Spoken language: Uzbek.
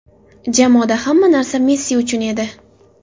Jamoada hamma narsa Messi uchun edi”.